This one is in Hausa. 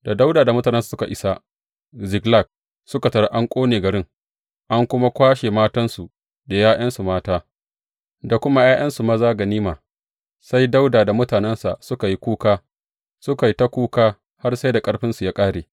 Da Dawuda da mutanensa suka isa Ziklag suka tarar an ƙone garin, an kuma kwashe matansu, da ’ya’yansu mata, da kuma ’ya’yansu maza ganima, sai Dawuda da mutanensa suka yi kuka, suka yi ta kuka har sai da ƙarfinsu ya ƙare.